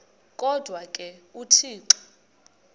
kodwa ke uthixo